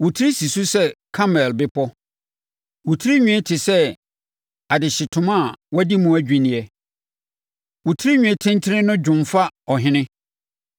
Wo tiri si so sɛ Karmel Bepɔ. Wo tirinwi te sɛ adehyetoma a wɔadi mu adwinneɛ; wo tirinwi tentene no dwomfa ɔhene.